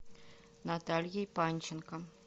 натальей панченко